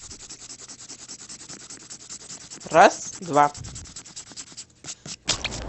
раз два